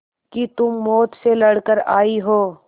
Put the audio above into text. कि तुम मौत से लड़कर आयी हो